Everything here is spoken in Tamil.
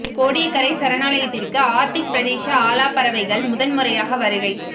கோடியக்கரை சரணாலயத்திற்கு ஆர்டிக் பிரதேச ஆலா பறவைகள் முதன் முறையாக வருகை